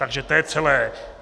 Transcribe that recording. Takže to je celé.